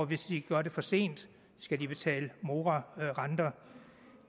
hvis de gør det for sent skal de betale morarenter